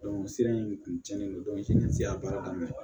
o sira in kun cɛnnen don a baara daminɛ